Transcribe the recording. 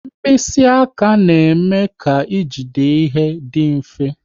Mkpịsị aka na-eme e jide ihe adị mfe